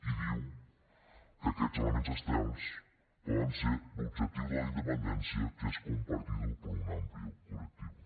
i diu que aquests elements externs poden ser l’objectiu de la independència que es compartido por un amplio colectivo